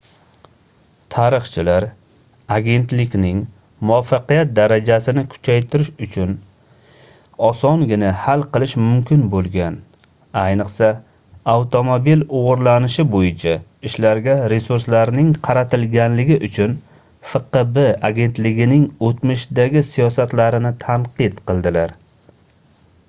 tarixchilar agentlikning muvaffaqiyat darajasini kuchaytirish uchun osongina hal qilish mumkin boʻlgan ayniqsa avtomobil oʻgʻrilanishi boʻyicha ishlarga resurslarning qaratilganligi uchun fqb agentligining oʻtmishdagi siyosatlarini tanqid qildilar